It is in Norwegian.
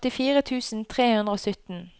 førtifire tusen tre hundre og sytten